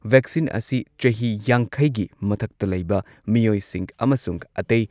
vaccine ꯑꯁꯤ ꯆꯍꯤ ꯌꯥꯡꯈꯩꯒꯤ ꯃꯊꯛꯇ ꯂꯩꯕ ꯃꯤꯑꯣꯏꯁꯤꯡ ꯑꯃꯁꯨꯡ ꯑꯇꯩ